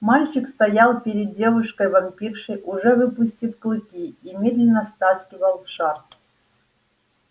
мальчик стоял перед девушкой-вампиршей уже выпустив клыки и медленно стаскивал шарф